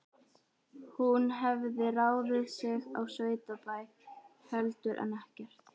Hún hafði ráðið sig á sveitabæ heldur en ekkert.